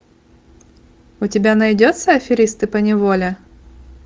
у тебя найдется аферисты поневоле